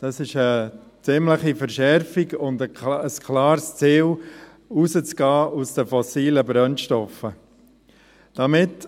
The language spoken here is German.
Dies ist eine ziemliche Verschärfung und ein klares Ziel, aus den fossilen Brennstoffen auszusteigen.